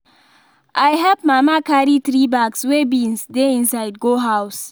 i help mama carry three bags wey beans dey inside go house